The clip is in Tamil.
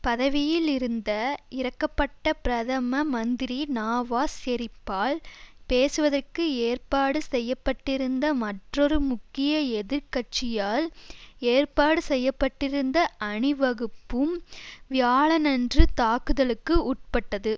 பதவியில் இருந்த இறக்கப்பட்ட பிரதம மந்திரி நாவாஸ் ஷெரிப்பால் பேசுவதற்கு ஏற்பாடு செய்ய பட்டிருந்த மற்றொரு முக்கிய எதிர் கட்சியால் ஏற்பாடு செய்ய பட்டிருந்த அணிவகுப்பும் வியாழனன்று தாக்குதலுக்கு உட்பட்டது